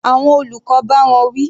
Àwọn olùkọ́ bá wọn wí.